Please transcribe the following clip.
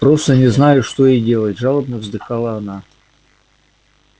просто не знаю что и делать жалобно вздыхала она